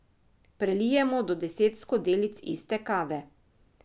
Prelijemo do deset skodelic iste kave.